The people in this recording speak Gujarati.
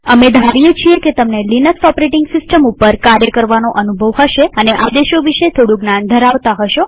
અમે ધારીએ છીએ કે તમને લિનક્સ ઓપરેટીંગ સિસ્ટમ ઉપર કાર્ય કરવાનો અનુભવ હશે અને આદેશો વિશે થોડું જ્ઞાન ધરાવતા હશો